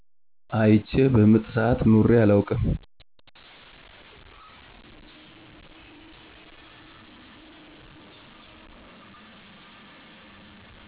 አይቸ በምጥ ስዓት ኑሬ አላውቅም